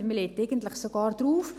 Man legt eigentlich sogar drauf.